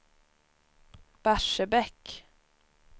Barsebäck